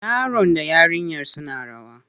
Yaron da yarinyar suna rawa.